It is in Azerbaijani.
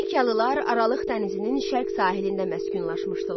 Finikiyalılar Aralıq dənizinin şərq sahilində məskunlaşmışdılar.